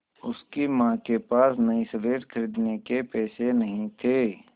उसकी माँ के पास नई स्लेट खरीदने के पैसे नहीं थे